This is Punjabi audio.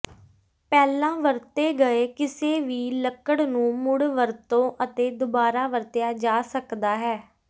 ਪਹਿਲਾਂ ਵਰਤੇ ਗਏ ਕਿਸੇ ਵੀ ਲੱਕੜ ਨੂੰ ਮੁੜ ਵਰਤੋਂ ਅਤੇ ਦੁਬਾਰਾ ਵਰਤਿਆ ਜਾ ਸਕਦਾ ਹੈ